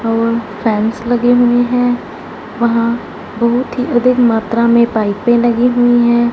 और फैंस लगे हुए हैं वहां बहुत ही अधिक मात्रा में पाईपे लगी हुई है।